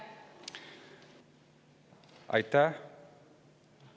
Aitäh!